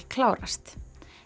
klárast